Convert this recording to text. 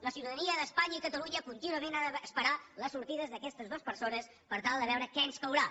la ciutadania d’espanya i catalunya contínuament ha d’esperar les sortides d’aquestes dues persones per tal de veure què ens caurà